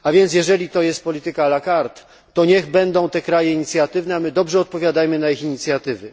Jeżeli to jest polityka la carte, to niech będą te kraje inicjatywne, a my dobrze odpowiadajmy na ich inicjatywy.